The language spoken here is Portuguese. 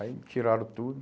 Aí me tiraram tudo.